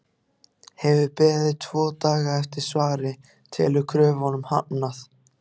Hefur beðið tvo daga eftir svari- telur kröfunum hafnað!